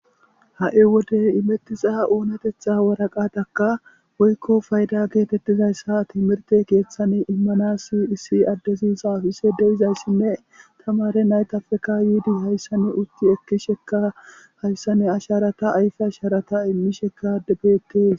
ha7i wode imettisa oonatetha waraqataka woykko fayda geetettizayssa timirte keeththane immanasi issi addezi saafise deizayssinne tamare naytafeka yiidi hayssanne utti ekkisheka hayssanne asharata ayfe asharata immishekadebeette